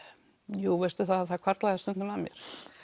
jú það hvarflaði að mér